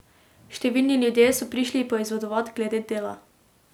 Številni ljudje so prišli poizvedovat glede dela.